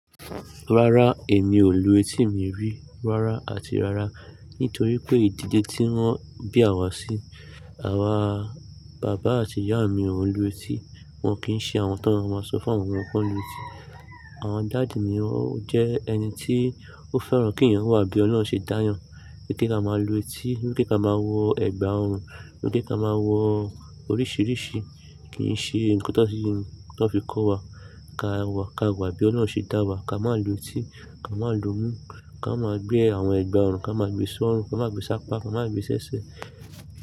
Rárá, èmi ò lu etí mi rí rárá àti rárá nítorí pé ìdílé tí wọ́n bí à wa sí, àwa bàbá àti ìyá mi ò ń lu etí, wọn kì í ṣe àwọn tó máa ń ṣọ fún àwọn omo kó lu etí. Àwọn dáàdí mi ò jẹ́ ẹni tí ó fẹ́ràn kí èèyàn wà bí Ọlọ́run ṣe dá a yàn. Ni kí a máa lu etí, ni kí a máa wọ ẹ̀gbà ọrùn, ni kí a máa wọ oríṣìíríṣìí kì í ṣe nǹkan tó fi kọ́ wa. Ká wà bí Ọlọ́run ṣe dá wa. Ka má lu etí, ka máa lu mú, ka máa gbé àwọn ẹ̀gbà ọrùn, ka máa gbe sọ́run, ka máa gbe sápá, ka máa gbe sẹ́sẹ́